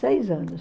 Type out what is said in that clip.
Seis anos.